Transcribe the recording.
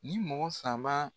Ni mɔgɔ saba